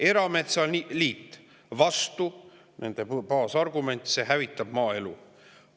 Erametsaliit oli vastu, nende baasargument: see hävitab maaelu.